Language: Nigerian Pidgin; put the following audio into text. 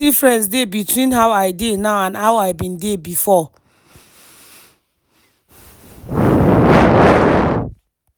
"plenty difference dey between how i dey now and how i bin dey before.